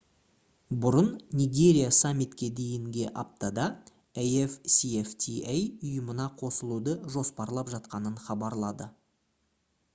бұрын нигерия саммитке дейінге аптада afcfta ұйымына қосылуды жоспарлап жатқанын хабарлады